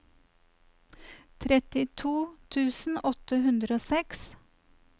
trettito tusen åtte hundre og seks